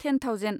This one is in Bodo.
ten thousand